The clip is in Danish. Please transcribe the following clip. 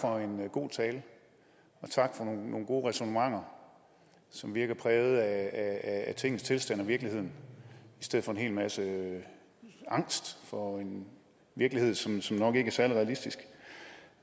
for en god tale og tak for nogle gode ræsonnementer som virker præget af tingenes tilstand og virkeligheden i stedet for en hel masse angst for en virkelighed som som nok ikke er særlig realistisk